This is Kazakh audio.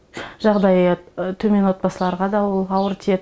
жағдайы төмен отбасыларға да ол ауыр тиеді